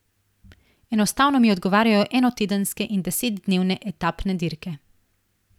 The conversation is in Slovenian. Enostavno mi odgovarjajo enotedenske in desetdnevne etapne dirke.